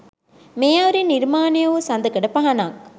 මේ අයුරින් නිර්මාණය වූ සඳකඩ පහණක්